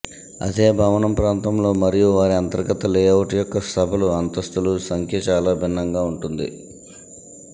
అదే భవనం ప్రాంతంలో మరియు వారి అంతర్గత లేఅవుట్ యొక్క సభలు అంతస్తులు సంఖ్య చాలా భిన్నంగా ఉంటుంది